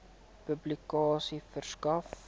publikasie verskaf